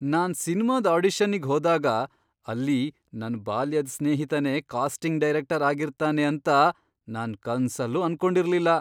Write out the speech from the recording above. ನಾನ್ ಸಿನ್ಮಾದ್ ಆಡಿಷನ್ನಿಗ್ ಹೋದಾಗ ಅಲ್ಲಿ ನನ್ ಬಾಲ್ಯದ್ ಸ್ನೇಹಿತನೇ ಕಾಸ್ಟಿಂಗ್ ಡೈರೆಕ್ಟರ್ ಆಗಿರ್ತಾನೆ ಅಂತ ನಾನ್ ಕನ್ಸಲ್ಲೂ ಅನ್ಕೊಂಡಿರ್ಲಿಲ್ಲ.